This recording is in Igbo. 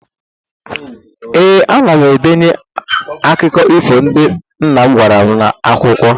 Ee, ana m edenye akụkụ ifo ndị nna m gwara m n'akwụkwọ.